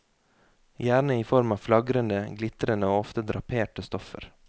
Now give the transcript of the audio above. Gjerne i form av flagrende, glitrende og ofte draperte stoffer.